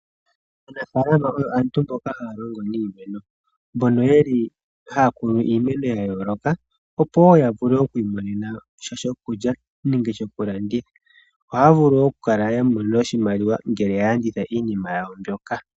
Aanafalama aantu mboka haya longo niimeno mbono yeli haya kunu iimeno ya yooloka, opo wo yavule okwi imonenasha shokulya nenge shokulanditha. Ohaya vulu wo oku kala yamona oshimaliwa ngele yalanditha iinima yawo mbyoka.